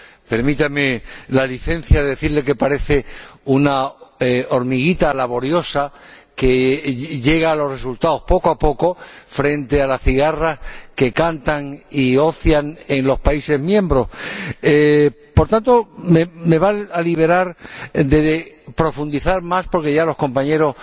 Permítame la licencia de decirle que parece una hormiguita laboriosa, que llega a los resultados poco a poco frente a las cigarras que cantan y ocian en los Estados miembros. Señorías, me van a liberar ustedes de profundizar más, porque ya los compañeros